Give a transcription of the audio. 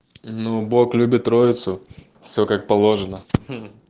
ну бог любит троицу все как положено